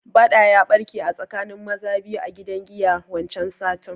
Baɗa ya barke a tsakanin maza biyu a gidan giya wancan satin